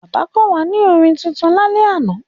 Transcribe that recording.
Bàbá kọ́ wa ní orin tuntun lálẹ́ àná.